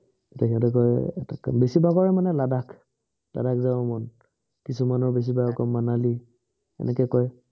তেতিয়া সিহঁতি কয়, বেছি ভাগৰে মানে লাডাখ। লাডাখ যাব মন। কিছুমানৰ বেছিভাগৰ আকৌ মনালি। এনেকে কয় তেতিয়া সিহঁতে কয়